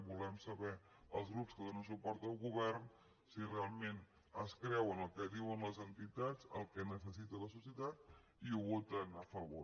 volem saber els grups que donen suport al govern si realment es creuen el que diuen les entitats que necessita la societat i ho voten a favor